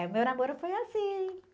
É, o meu namoro foi assim.